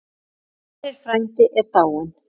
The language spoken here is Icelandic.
Hann Sverrir frændi er dáinn.